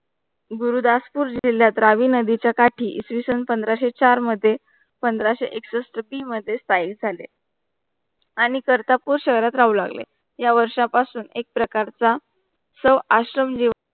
गुरुदासपूर जिल्ह्यात रावी नदी च्या काठी इसवि सन पंधराशे चार मध्ये पंधराशे एकसष्ठ बी मध्ये स्थायिक झाले. आणि कर्तारपूर शहरात राहू लागले. या वर्ष पासुन एक प्रकार चा सो आश्रम लेओ